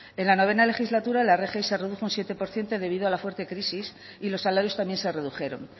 en la noveno legislatura la rgi se redujo un siete por ciento debido a la fuerte crisis y los salarios también se redujeron